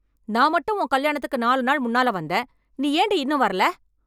நான் மட்டும் உன் கல்யாணத்துக்கு நாலு நாள் முன்னால வந்தேன், நீ ஏண்டி இன்னும் வரல?